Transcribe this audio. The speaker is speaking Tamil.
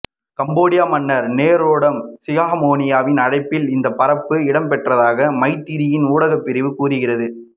கம்போடிய மன்னர் நோரோடாம் சிஹாமோனியின் அழைப்பில் இந்தப்பறப்பு இடம்பெற்றதாக மைத்திரியின் ஊடகப்பிரிவு கூறுகிறது